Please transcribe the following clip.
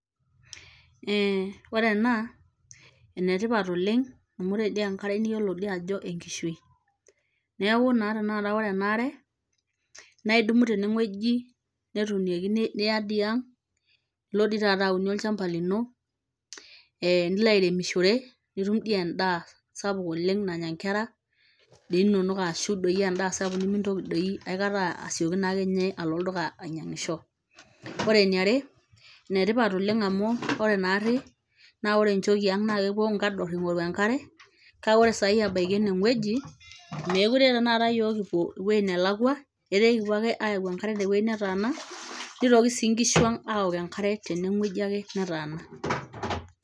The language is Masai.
Ee , ore ena naa enetipat oleng amu ore dii enkare niyiolo dii ajo enkishui niauku naa ore ena aare naa idumu tewuei netuunieki niya ang , ilo dii taata aunie olchamba lino, e nilo airemishore nitum dii endaa sapuk nannya inkera inonok ashu doi sapuk nimintoki doi ninye aikata asioki alo olduka ainyiangisho. Ore eniare , ene tipat oleng amu ore naari naa ore nchoo ang naa kepuo nkador ingoru enkare kake ore sai ebaiki ene wueji naa meekure tenakata yiook kipuo ewuei nelakwa etaa ekipuo ake ayau enkare te wuei netaana , nitoki sii nkishu ang aok enkare tene wueji ake netaana.